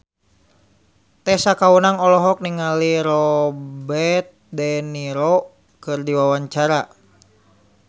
Tessa Kaunang olohok ningali Robert de Niro keur diwawancara